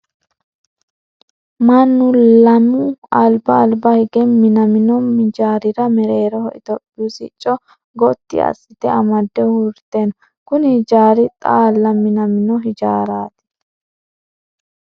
Mannu lemu alba alba hige minaminno hijaarira mereeroho itophiyu sicco goti asite amade uurite no. Kunni hijaari xaala minaminno hijaarati.